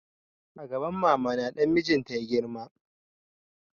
A gaban mama na dan mijin ta ya girma